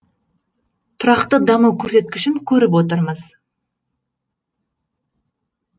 тұрақты даму көрсеткішін көріп отырмыз